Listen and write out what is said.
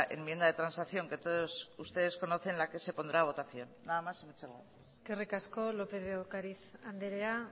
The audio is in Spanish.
enmienda de transacción que todos ustedes conocen la que se pondrá a votación nada más muchas gracias eskerrik asko lópez de ocariz andrea